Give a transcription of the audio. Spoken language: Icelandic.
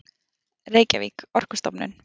Reykjavík: Orkustofnun.